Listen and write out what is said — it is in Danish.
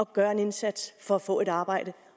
gøre en indsats for at få et arbejde